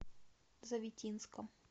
завитинском